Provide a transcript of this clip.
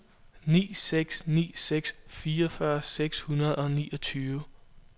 ni seks ni seks fireogfyrre seks hundrede og niogtyve